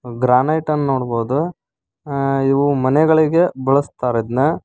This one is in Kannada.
ಗ್ರಾನೈಟ್ ಅನ್ ನೋಡಬಹುದು ಅ-ಇವು ಮನೆಗಳಿಗೆ ಬಳಸ್ತಾರೆ ಇದ್ನ.